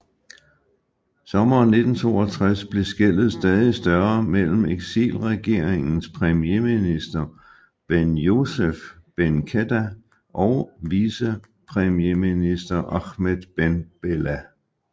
Sommeren 1962 blev skellet stadig større mellem eksilregeringens premierminister Benyousef Ben Khedda og vicepremierminister Ahmed Ben Bella